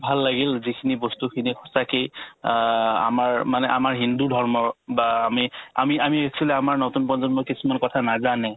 ভাল লাগিল যিখিনি বস্তুখিনি সঁচাকে অ আমাৰ মানে আমাৰ হিন্দু ধৰ্মৰ বা আমি আমি আমি actually আমাৰ নতুন প্ৰজন্মই কিছুমান কথা নাজানে